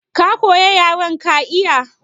Ka koyi yaren ka iya?